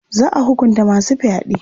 Za a hukunta masu fyaɗe.